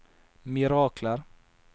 mirakler